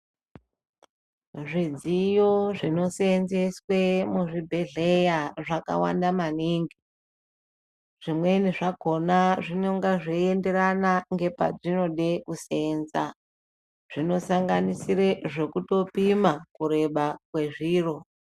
Zvidziyo zvinosenzeswe muzvibhedhleya zvakawanda maningi. Zvimweni zvakona zvinonga zvienderana ngepazvinode kusenza. Zvinosanganisire zvokutopoma kureba kwezviro.